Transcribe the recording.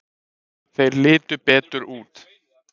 Þeir litu betur út.